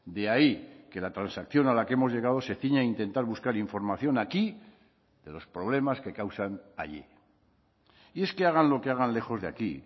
de ahí que la transacción a la que hemos llegado se ciña a intentar buscar información aquí de los problemas que causan allí y es que hagan lo que hagan lejos de aquí